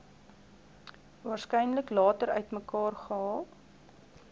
waarskynlik later uitmekaargehaal